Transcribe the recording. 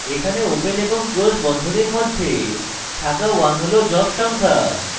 এখানে ওপেন এবং ক্লোস বন্ধনীর মধ্যে থাকা 1 হল job সংখ্যা